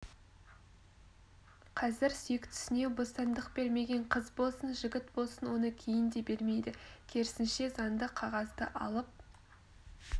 қазір сүйіктісіне бостандық бермеген қыз болсын жігіт болсын оны кейін де бермейді керісінше заңды қағазды алып